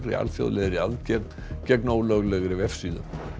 alþjóðlegri aðgerð gegn ólöglegri vefsíðu